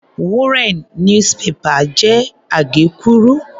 Wúnrẹ̀n "newspaper" jẹ́ àgékúrú.